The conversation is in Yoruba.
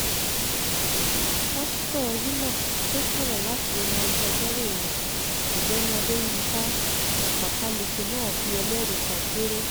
pásítọ̀ enock tó sọ̀rọ̀ láti ẹnu agbẹjọ́rò rẹ̀ ọ̀gbẹ́ni adéyinka ọpákálẹ̀kẹ̀ náà pé ẹlẹ́rìí kan péré